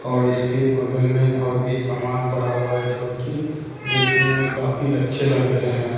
और इसके बगल में और भी सामान पड़ा हुआ है जो कि देखने में काफी अच्छे लग रहे हैं।